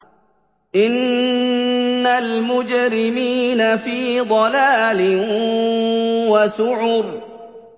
إِنَّ الْمُجْرِمِينَ فِي ضَلَالٍ وَسُعُرٍ